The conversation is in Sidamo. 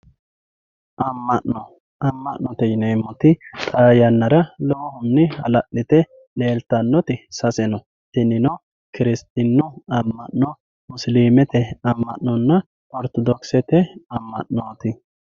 amma'no amma'note yineemmoti xaa yannara lowohunni hala'lite leeltannoti sase no kiristinnu Amma'no musilimete amma'nonna ortodokisete amma'nooti.